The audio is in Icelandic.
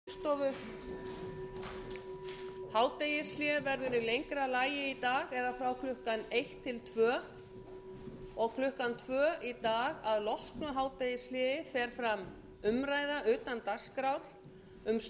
hádegishlé verður í lengra lagi í dag eða frá klukkan eitt til tvö og klukkan tvö í dag að loknu hádegishléi fer fram umræða utan dagskrár um störf skilanefnda bankanna